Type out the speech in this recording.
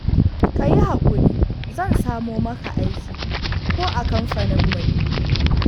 ka yi haƙuri zan samo maka aiki ko a kamfaninmu ne